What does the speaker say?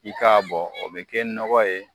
I k'a bɔ, o be kɛ nɔgɔ ye